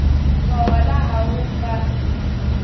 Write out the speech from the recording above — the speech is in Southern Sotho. mawala a ho ka di